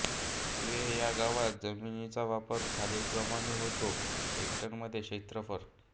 तुये ह्या गावात जमिनीचा वापर खालीलप्रमाणे होतो हेक्टरमध्ये क्षेत्रफळ